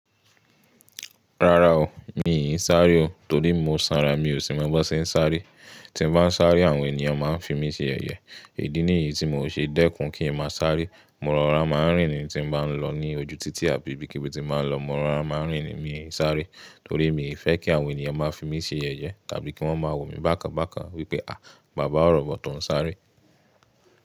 Rárá o, mi ò ní sáré o torí mo sanra, mi ò sì máa bọ́ ṣe n sáré. Tí mo bá ń sáré, àwọn ènìyàn máa ń fi mí ṣe ẹ̀yẹ. Idí nìyí tí mò ṣe dẹ́kun kí ń má sáré. Mọ́ràrá máa ń rìn ní tí mo bá ń lọ ní ojú títì àbí ibí kibi tí báa ń lọ. Mọ́ràná máa ń rìn ni, mi ò ní sáré torí mi ò fẹ́ kí àwọn ènìyàn máa fi mí ṣe yẹ̀yẹ tàbí kí wọ́n máa wò mí bákan bákan wípé "à, bàbá ọ̀rọ̀bọ̀, ton sáré."